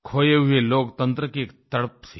खोये हुए लोकतंत्र की एक तड़प थी